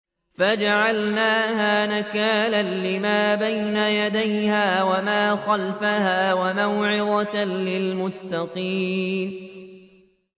فَجَعَلْنَاهَا نَكَالًا لِّمَا بَيْنَ يَدَيْهَا وَمَا خَلْفَهَا وَمَوْعِظَةً لِّلْمُتَّقِينَ